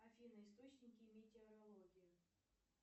афина источники метеорологии